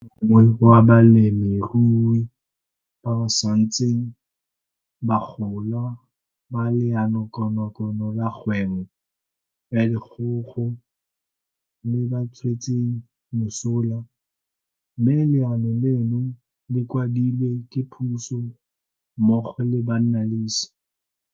Ke o mongwe wa balemirui ba ba santseng ba gola ba Leanokonokono la Kgwebo ya Dikgogo le ba tswetseng mosola, mme leano leno le kwadilwe ke puso mmogo le bannalese.